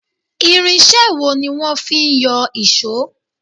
Irinṣé wo ní wọ́n fí ń yọ ìṣọ́?